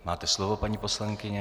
Máte slovo, paní poslankyně.